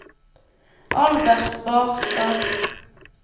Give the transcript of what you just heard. Albert Barstad